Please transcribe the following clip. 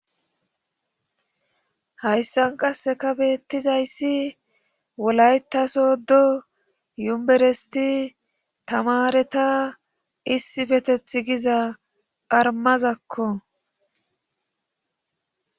hayssan qasseka beettizayssi wolaytasodo yuberesti tamareta issibeteth giza armazakko